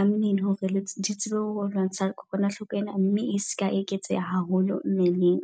a mmele hore di tsebe ho lwantsha kokwanahloko ena. Mme e seka eketseha haholo mmeleng.